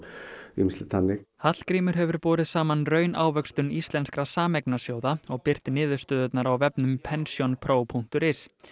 ýmislegt þannig Hallgrímur hefur borið saman raunávöxtun íslenskra og birt niðurstöðurnar á vefnum pensionpro punktur is